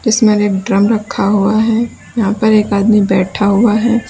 उसमें एक ड्रम रखा हुआ है यहां एक आदमी भी बैठा हुआ है।